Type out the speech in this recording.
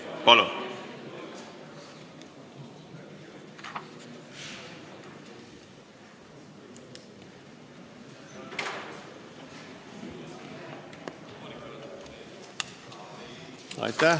Palun!